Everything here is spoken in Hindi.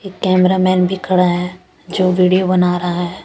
एक कैमरा मैन भी खड़ा है जो विडियो बना रहा है ।